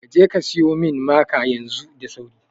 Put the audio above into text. Kaje ka siyo min maka yanzu da sauri